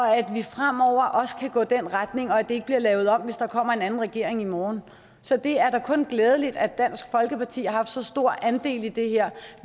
at vi fremover også kan gå i den retning og at det ikke bliver lavet om hvis der kommer en anden regering i morgen så det er da kun glædeligt at dansk folkeparti har så stor en andel i det her